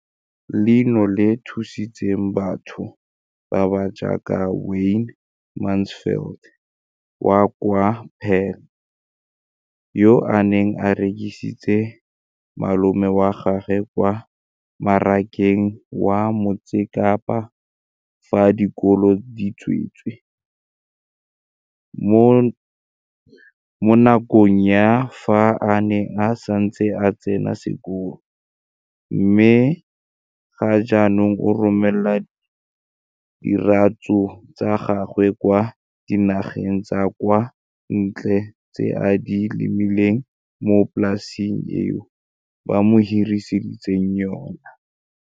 Leno le thusitse batho ba ba jaaka Wayne Mansfield, 33, wa kwa Paarl, yo a neng a rekisetsa malomagwe kwa Marakeng wa Motsekapa fa dikolo di tswaletse, mo nakong ya fa a ne a santse a tsena sekolo, mme ga jaanong o romela diratsuru tsa gagwe kwa dinageng tsa kwa ntle tseo a di lemileng mo polaseng eo ba mo hiriseditseng yona.